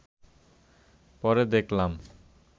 পরে দেখলাম